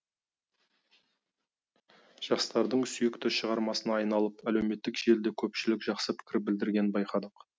жастардың сүйікті шығармасына айналып әлеуметтік желіде көпшілік жақсы пікір білдіргенін байқадық